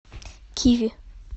киви